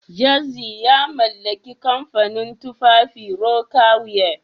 Jazzy ya mallaki kamfanin tufafin Rocawear